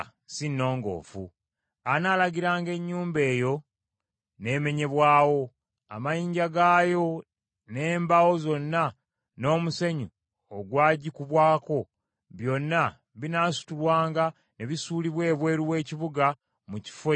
Anaalagiranga ennyumba eyo n’emenyebwawo, amayinja gaayo n’embaawo zaayo n’omusenyu ogwagikubwako, byonna binaasitulwanga ne bisuulibwa ebweru w’ekibuga mu kifo ekitali kirongoofu.